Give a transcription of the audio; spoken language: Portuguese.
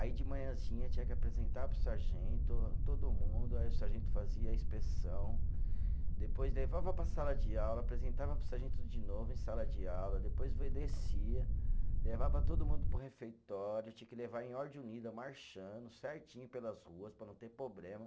Aí de manhãzinha tinha que apresentar para o sargento, todo mundo, aí o sargento fazia a inspeção, depois levava para a sala de aula, apresentava para o sargento de novo em sala de aula, depois descia, levava todo mundo para o refeitório, tinha que levar em ordem unida, marchando, certinho pelas ruas, para não ter problema.